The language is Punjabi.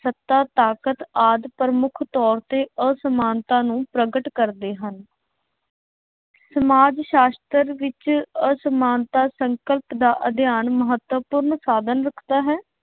ਸੱਤਾ, ਤਾਕਤ ਆਦਿ ਪ੍ਰਮੁੱਖ ਤੌਰ ਤੇ ਅਸਮਾਨਤਾ ਨੂੰ ਪ੍ਰਗਟ ਕਰਦੇ ਹਨ। ਸਮਾਜ ਸ਼ਾਸ਼ਤਰ ਵਿੱਚ ਅਸਮਾਨਤਾ ਸੰਕਲਪ ਦਾ ਅਧਿਐਨ ਮਹੱਤਵਪੂਰਨ ਸਾਧਨ ਰੱਖਦਾ ਹੈ।